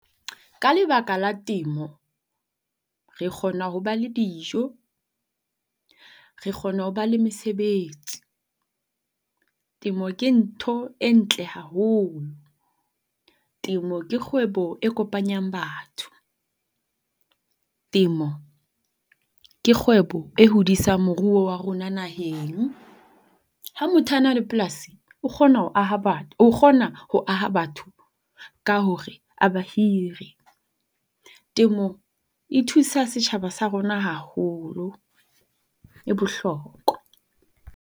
Ka lebaka la temo re kgona ho ba le dijo, re kgona ho ba le mesebetsi. Temo ke ntho e ntle haholo. Temo ke kgwebo e kopanyang batho. Temo ke kgwebo e hodisang moruo wa rona naheng. Ha motho a na le polasi o kgona ho aha o kgona ho aha batho ka hore a bahire. Temo e thusa setjhaba sa rona haholo. E bohlokwa.